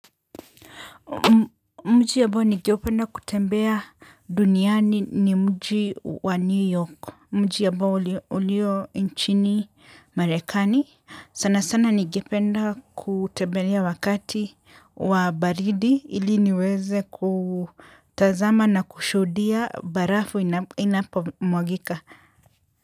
Mji ambao ningependa kutembea duniani ni mji wa New York. Mji ambao ulio nchini marekani. Sana sana ningependa kutembelea wakati wa baridi ili niweze kutazama na kushudia barafu inapomwagika.